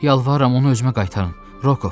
Yalvarıram onu özümə qaytarın, Rokoov.